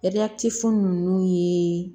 fu nunnu ye